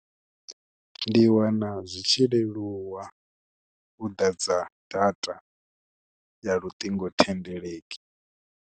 Ndi wana zwi tshi leluwa u ḓadza data ya luṱingothendeleki.